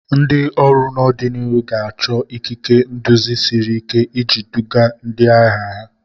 Ndị ọrụ n'ọdịnihu ga-achọ ikike nduzi siri ike iji duga ndị agha ha.